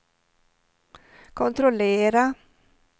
kontrollera